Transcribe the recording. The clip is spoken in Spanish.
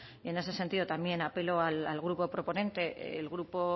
en ese sentido también apelo al grupo proponente el grupo